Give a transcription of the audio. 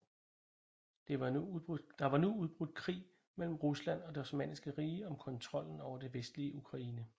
Der var nu udbrudt krig mellen Rusland og Det Osmanniske Rige om kontrollen over det vestlige Ukraine